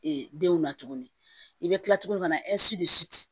denw na tuguni i bɛ kila tuguni ka na